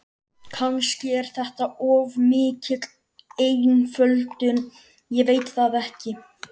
Kannski er þetta of mikil einföldun, ég veit það ekki.